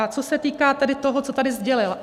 A co se týká tedy toho, co tady sdělil.